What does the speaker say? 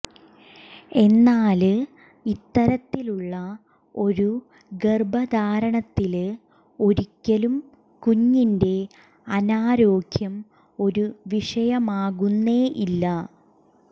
എന്നാല് ഇത്തരത്തിലുള്ള ഒരു ഗര്ഭധാരണത്തില് ഒരിക്കലും കുഞ്ഞിന്റെ അനാരോഗ്യം ഒരു വിഷയമാകുന്നേ ഇല്ല